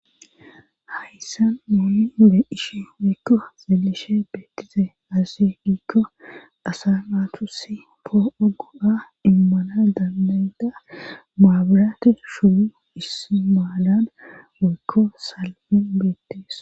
Hayssan mooli obe ishi weykko zelishe beettize azasi diikko asa aatusi poo'ogo'a immana danbayda maabiraati shudu ismaalan waykko salamen beetteesso.